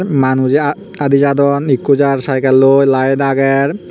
manujey aa aadi jadon ikko jar saikelloi laet aager.